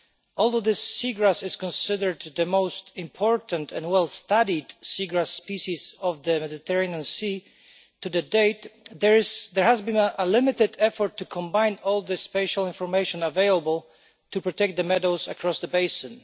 Although the seagrass is considered the most important and well-studied seagrass species of the Mediterranean Sea, to date there has been a limited effort to combine all the spatial information available to protect the meadows across the basin.